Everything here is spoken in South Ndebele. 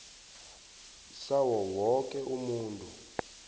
sawo woke umuntu